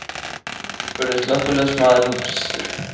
spurði slökkviliðsmaðurinn byrstur.